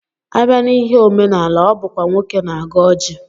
Abịa n'ihe omenala, ọ bụkwa nwoke na-agọ ọjị